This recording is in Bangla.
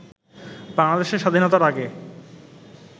বাংলাদেশের স্বাধীনতার আগে